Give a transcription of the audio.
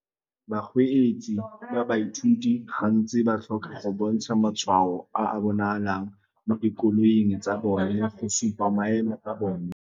Bakgweetsi ba baithuti gantsi ba tlhoka go bontsha matshwao a a bonalang mo dikoloing tsa bone go supa maemo a bone.